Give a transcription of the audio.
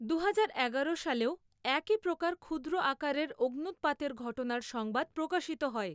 দুহাজার এগারো সালেও একই প্রকার ক্ষুদ্র আকারের অগ্ন্যুৎপাতের ঘটনার সংবাদ প্রকাশিত হয়।